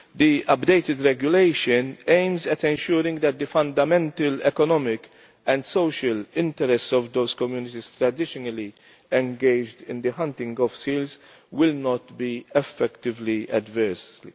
The updated regulation aims at ensuring that the fundamental economic and social interests of those communities traditionally engaged in the hunting of seals will not be affected adversely.